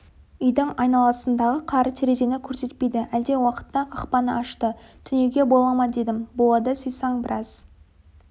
үйдің айналасындағы қар терезені көрсетпейді әлден уақытта қақпаны ашты түнеуге бола ма дедім болады сыйсаң біраз